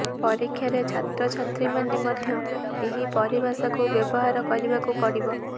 ପରୀକ୍ଷାରେ ଛାତ୍ରଛାତ୍ରୀମାନେ ମଧ୍ୟ ଏହି ପରିଭାଷାକୁ ବ୍ୟବହାର କରିବାକୁ ପଡ଼ିବ